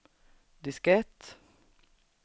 diskett